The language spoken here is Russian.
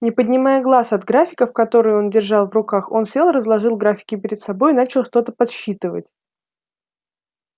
не поднимая глаз от графиков которые он держал в руках он сел разложил графики перед собой и начал что-то подсчитывать